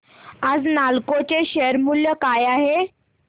आज नालको चे शेअर मूल्य काय आहे